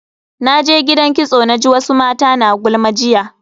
Naje gidan kitso naji wasu mata na gulma jiya.